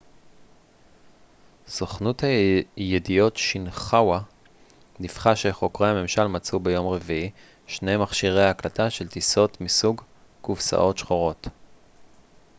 סוכנות הידיעות שינחואה דיווחה שחוקרי הממשל מצאו ביום רביעי שני מכשירי הקלטה של טיסות מסוג קופסאות שחורות